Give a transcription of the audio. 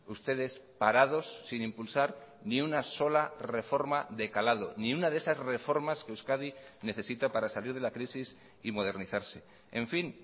ustedes parados sin impulsar ni una sola reforma de calado ni una de esas reformas que euskadi necesita para salir de la crisis y modernizarse en fin